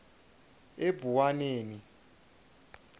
ebuwaneni